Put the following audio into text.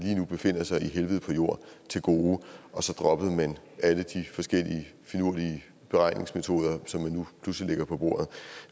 befinder sig i helvede på jord til gode og så dropper man alle de forskellige finurlige beregningsmetoder som man nu pludselig lægger på bordet